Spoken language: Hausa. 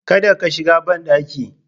Kada ka shiga banɗaki